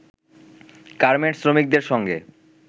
garments শ্রমিকদের সঙ্গে